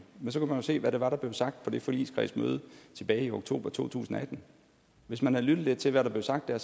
se hvad det var der blev sagt på det forligskredsmøde tilbage i oktober to tusind og atten hvis man havde lyttet lidt til hvad der blev sagt der